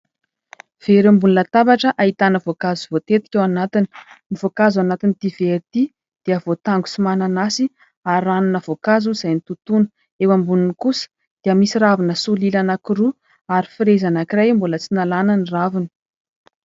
Vera ambonin'ny latabatra ahitana voankazo voatetika ao anatiny. Ny voankazo ao anatin'ity vera ity dia voatango sy mananasy ary ranona voankazo izay notontona. Eo amboniny kosa dia misy ravina solila anankiroa ary frezy anankiray mbola tsy nalana ny raviny.